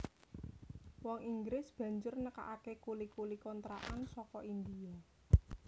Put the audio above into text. Wong Inggris banjur nekakaké kuli kuli kontrakan saka India